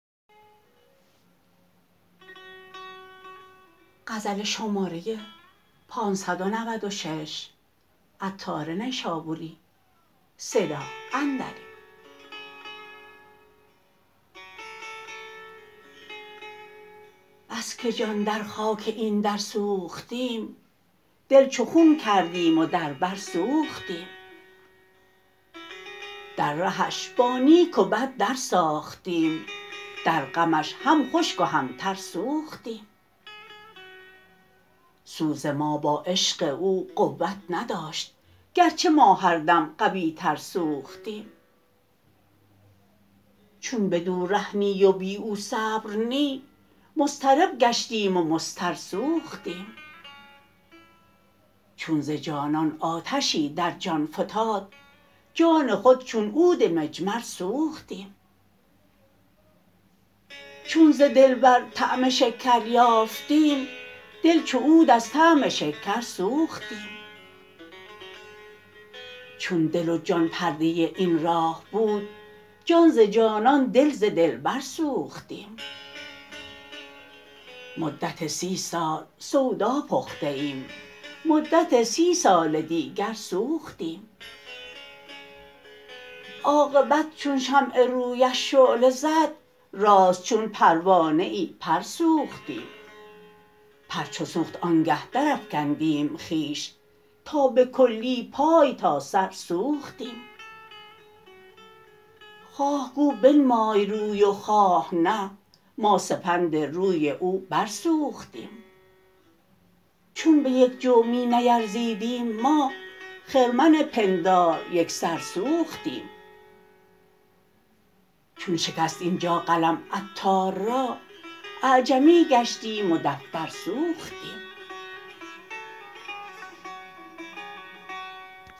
بس که جان در خاک این در سوختیم دل چو خون کردیم و در بر سوختیم در رهش با نیک و بد در ساختیم در غمش هم خشک و هم تر سوختیم سوز ما با عشق او قوت نداشت گرچه ما هر دم قوی تر سوختیم چون بدو ره نی و بی او صبر نی مضطرب گشتیم و مضطر سوختیم چون ز جانان آتشی در جان فتاد جان خود چون عود مجمر سوختیم چون ز دلبر طعم شکر یافتیم دل چو عود از طعم شکر سوختیم چون دل و جان پرده این راه بود جان ز جانان دل ز دلبر سوختیم مدت سی سال سودا پخته ایم مدت سی سال دیگر سوختیم عاقبت چون شمع رویش شعله زد راست چون پروانه ای پر سوختیم پر چو سوخت آنگه درافکندیم خویش تا به کلی پای تا سر سوختیم خواه گو بنمای روی و خواه نه ما سپند روی او بر سوختیم چون به یک جو می نیرزیدیم ما خرمن پندار یکسر سوختیم چون شکست اینجا قلم عطار را اعجمی گشتیم و دفتر سوختیم